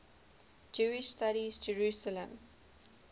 jewish studies jerusalem